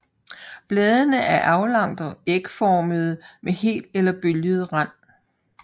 Bladene er aflangt ægformede med hel eller bølget rand